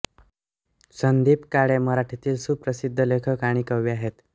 संदीप काळे मराठीतील सुप्रसिद्ध लेखक आणि कवी आहेत